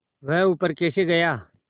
वह ऊपर कैसे गया